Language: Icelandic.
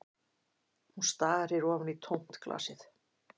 Hún starir ofan í tómt glasið